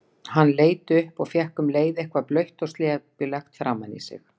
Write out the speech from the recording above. Hann leit upp og fékk um leið eitthvað blautt og slepjulegt framan í sig.